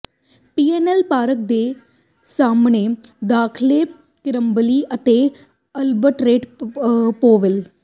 PNN park ਦੇ ਸਾਹਮਣੇ ਦਾਖਲੇ ਕਿੰਬਰਲੀ ਅਤੇ ਅਲਬਰੇਟ ਪੋਵੇਲ